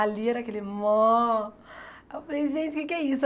Ali era aquele mó... Aí eu falei, gente, o que é que é isso?